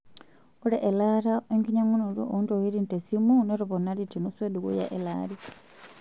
Ore elaata oo enkinyang'unoto oo ntokitin tesimu notoponari tenusu edukuya elaari